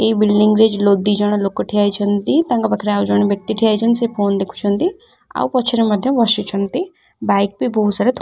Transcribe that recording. ଏଇ ବିଲଡିଙ୍ଗ ରେ ଲୋକ ଦିଜଣ ଲୋକ ଠିଆ ହେଇଛନ୍ତି ତାଙ୍କ ପାଖରେ ଆଉ ଜଣେ ବ୍ୟକ୍ତି ଠିଆ ହୋଇଛନ୍ତି ସେ ଫୋନ ଦେଖୁଛନ୍ତି ଆଉ ପଛରେ ମଧ୍ୟ ବସିଛନ୍ତି ବାଇକ ବି ବହୁତ ସାରା ---